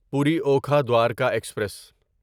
پوری اوکھا دوارکا ایکسپریس